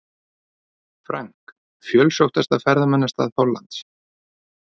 Frank, fjölsóttasta ferðamannastað Hollands.